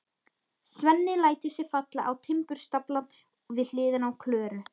Svenni lætur sig falla á timburstaflann við hliðina á Klöru.